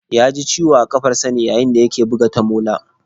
Ya ji ciwo a kafarsa ne yayin da ya ke buga tamola